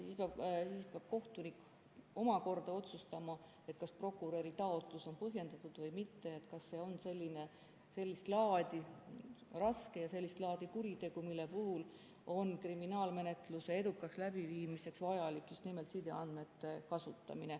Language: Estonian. Siis peab kohtunik omakorda otsustama, kas prokuröri taotlus on põhjendatud või mitte, kas see on raske ja sellist laadi kuritegu, mille puhul on kriminaalmenetluse edukaks läbiviimiseks vajalik just nimelt sideandmete kasutamine.